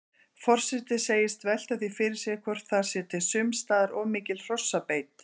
Forseti segist velta því fyrir sér hvort þar sé sums staðar of mikil hrossabeit.